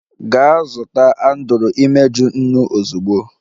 Gaa zụta Andrew imeju, nnu ozugbo!